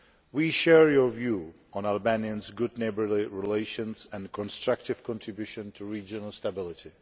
We share your view on Albania's good neighbourly relations and constructive contribution to regional stability.